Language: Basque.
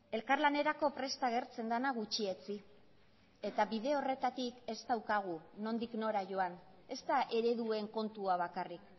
elkarlanerako prest agertzen dena gutxietsi eta bide horretatik ez daukagu nondik nora joan ez da ereduen kontua bakarrik